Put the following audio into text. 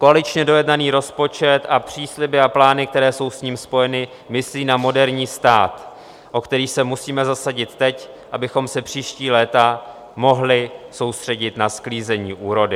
Koaličně dojednaný rozpočet a přísliby a plány, které jsou s ním spojeny, myslí na moderní stát, o který se musíme zasadit teď, abychom se příští léta mohli soustředit na sklízení úrody.